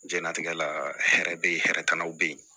Jɛnlatigɛ la hɛrɛ be yen hɛrɛ kana be yen